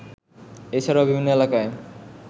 এছাড়াও বিভিন্ন এলাকায়